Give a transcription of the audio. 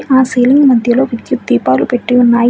ఆ సీలింగ్ మధ్యలో విద్యుత్ దీపాలు పెట్టి ఉన్నాయి.